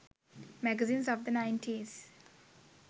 magazines of the 90s